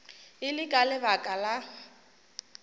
e le ka lebaka la